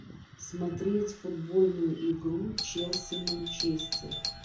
смотреть футбольную игру челси манчестер